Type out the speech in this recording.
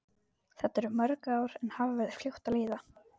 Þetta eru mörg ár en hafa verið fljót að líða.